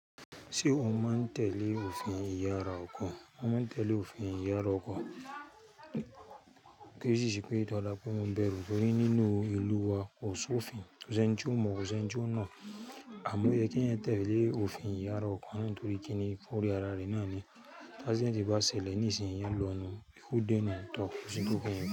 Ṣé ó máa ń tẹ̀lé òfin ìyára ọkọ̀? Ó máa ń tẹ̀lé òfin ìyára ọkọ̀, kí ó sì ṣì pé ó dára pé ó máa bẹ̀rù torí nínú ìlú wa kò sí òfin. kO ṣi eńi ti ó mọ́, ko ṣeni ti o mo, àmọ́ oyẹ kí ẹeyan tẹ̀lé òfin ìyára ọkọ̀ náà torí kí ni fún orí ara rẹ náà ni tí accident bá ṣẹlẹ̀ ní ìsìn iyan lọnu, ikú dènà to kò sí kó pé yẹn.